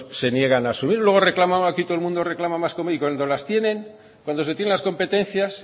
se niegan a asumirlo luego aquí todo el mundo reclama más y cuando las tienen cuando se tienen las competencias